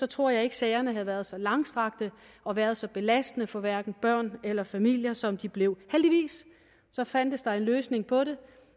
tror jeg ikke sagerne havde været så langstrakte og været så belastende for hverken børn eller familier som de blev heldigvis fandtes der en løsning på det